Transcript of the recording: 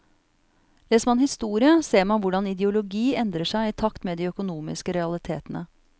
Leser man historie, ser man hvordan ideologi endrer seg i takt med de økonomiske realitetene.